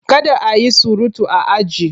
Kada a yi surutu a aji!